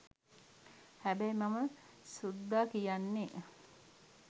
හැබැයි මම සුද්ද කියන්නේ